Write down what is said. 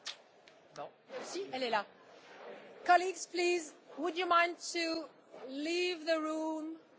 Ho votato a favore di questa relazione perché individua razionalmente i vantaggi del progresso del mondo digitale.